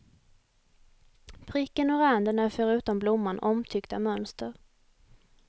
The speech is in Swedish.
Pricken och randen är förutom blomman omtyckta mönster.